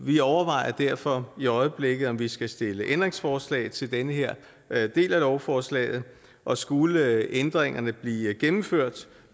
vi overvejer derfor i øjeblikket om vi skal stille ændringsforslag til den her del af lovforslaget og skulle ændringerne blive gennemført